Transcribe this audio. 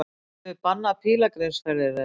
Höfum við bannað pílagrímsferðir þeirra?